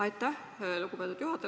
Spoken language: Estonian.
Aitäh, lugupeetud juhataja!